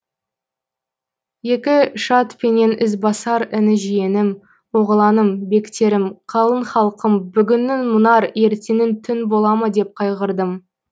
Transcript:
екі шад пенен ізбасар іні жиенім оғланым бектерім қалың халқым бүгінің мұнар ертеңін түн бола ма деп қайғырдым